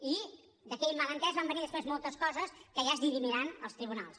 i d’aquell malentès van venir després moltes coses que ja es dirimiran als tribunals